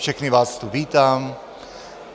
Všechny vás tu vítám.